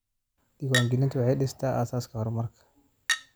Diiwaangelintu waxay dhistaa aasaaska horumarka.